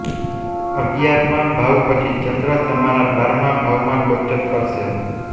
અગિયારમા ભાવ પછી ચંદ્ર તમારા બારમા ભાવ માં ગોચર કરશે